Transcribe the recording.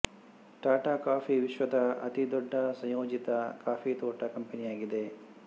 Tata coffee ವಿಶ್ವದ ಅತಿದೊಡ್ಡ ಸಂಯೋಜಿತ ಕಾಫಿ ತೋಟ ಕಂಪನಿಯಾಗಿದೆ